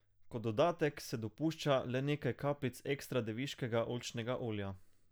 Kot dodatek se dopušča le nekaj kapljic ekstra deviškega oljčnega olja.